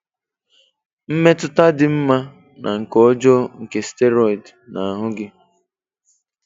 Mmetụta dị mma na nke ọjọọ nke Steroid na ahụ gị